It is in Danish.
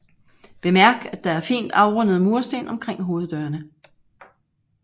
Bemærk at der er fint afrundede mursten omkring hoveddørene